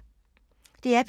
DR P2